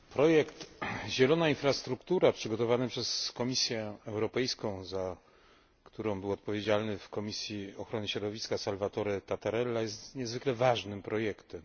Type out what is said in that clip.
Projekt Zielona infrastruktura przygotowany przez Komisję Europejską, za który był odpowiedzialny w Komisji Ochrony Środowiska Salvatore Tatarella, jest niezwykle ważnym projektem.